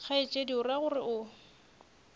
kgaetšedi o ra gore o